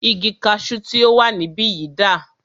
Igi kaṣu tí o wà níbìyí dà?